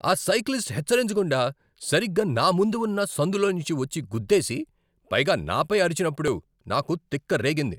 ఆ సైక్లిస్ట్ హెచ్చరించకుండా సరిగ్గా నా ముందు ఉన్న సందులోంచి వచ్చి గుద్దేసి, పైగా నాపై అరిచినప్పుడు నాకు తిక్కరేగింది.